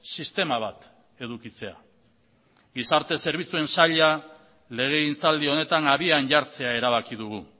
sistema bat edukitzea gizarte zerbitzuen saila legegintzaldi honetan abian jartzea erabaki dugu